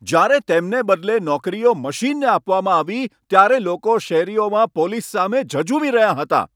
જ્યારે તેમને બદલે નોકરીઓ મશીનને આપવામાં આવી ત્યારે લોકો શેરીઓમાં પોલીસ સામે ઝઝૂમી રહ્યાં હતાં